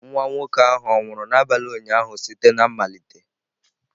Nwa nwoke ahụ ọ̀ nwụrụ n'abalị ụnyaahụ site na mmalite?